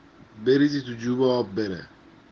аа